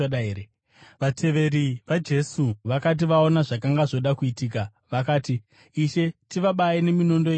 Vateveri vaJesu vakati vaona zvakanga zvoda kuitika vakati, “Ishe, tivabaye neminondo yedu here?”